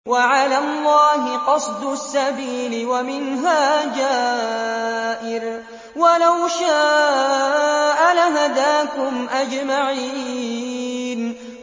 وَعَلَى اللَّهِ قَصْدُ السَّبِيلِ وَمِنْهَا جَائِرٌ ۚ وَلَوْ شَاءَ لَهَدَاكُمْ أَجْمَعِينَ